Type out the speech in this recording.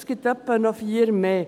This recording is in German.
Es gibt noch ungefähr vier mehr.